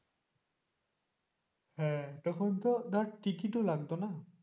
হ্যাঁ তখন তো ধর টিকেট ও লাগত না,